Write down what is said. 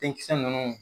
Denkisɛ ninnu